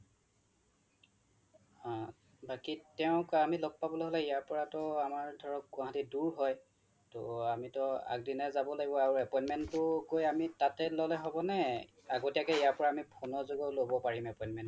হা বাকি তেওঁক আমি লগ পাবলৈ হলে ইয়াৰ পৰাটো আমাৰ গুৱাহাটী দূৰ হয় আমি টো আগদিনাই যাব লাগিব আৰু appointment টো আমি তাতে গৈ ললে হব নে নে আগতীয়া কে ইয়াৰ পৰা আমি phone ৰ যোগেয়ো লব পাৰিম appointment টো